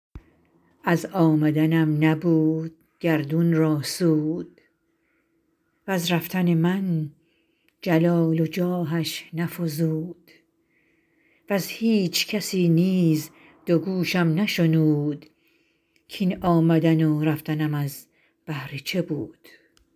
از آمدنم نبود گردون را سود وز رفتن من جلال و جاهش نفزود وز هیچ کسی نیز دو گوشم نشنود کاین آمدن و رفتنم از بهر چه بود